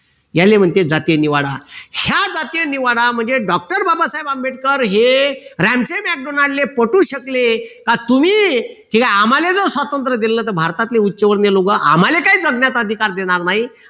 याले म्हणते जातीय निवाडा ह्या जातीय निवाडा म्हणजे doctor बाबासाहेब आंबेडकर हे ले पटवू शकले का तुम्ही ते आम्हाले स्वातंत्र दिल तर भारतातले उच्चवर्णीय लोक आम्हाला काय जगण्याचा अधिकार देणार नाही